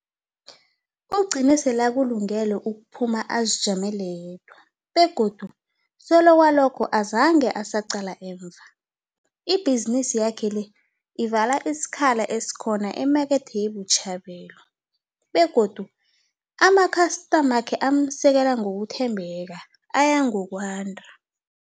Ugcine selakulungele ukuphuma azijamele yedwa, begodu solo kwalokho azange asaqala emva. Ibhizinisi yakhe le ivala isikhala esikhona emakethe ye-Botshabelo, begodu amakhastamakhe amsekela ngokuthembeka aya ngokwanda.